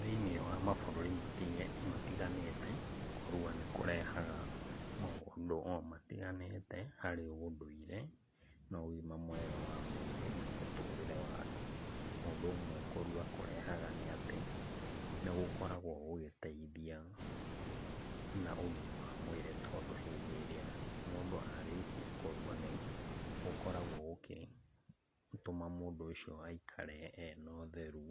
Thĩiniĩ wa mabũrũri matiganĩte, kũrua nĩkũrehaga maũndũ o matiganĩte harĩ ũndũire na ũgima mega wa mwĩrĩ na mũtũũrĩre wa andũ. Ũndũ ũmwe kũrua kũrehaga nĩ atĩ nĩgũkoragwo gũgĩteithia na ũgima wa mwĩrĩ tondũ hĩndĩ ĩrĩa mũndũ arĩkia kũrua nĩgũkoragwo gũgĩtũma mũndũ ũcio aikare ena ũtheru